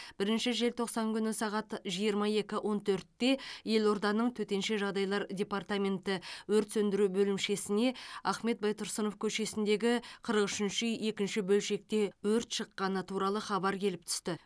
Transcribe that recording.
бірінші желтоқсан күні сағат жиырма екі он төртте елорданың төтенше жағдайлар департаменті өрт сөндіру бөлімшесіне ахмет байтұрсынов көшесіндегі қырық үшінші үй екінші бөлшекте өрт шыққаны туралы хабар келіп түсті